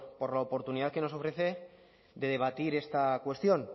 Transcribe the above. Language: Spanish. por la oportunidad que nos ofrece de debatir esta cuestión